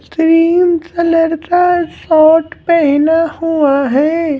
Cream colour का short पहना हुआ है।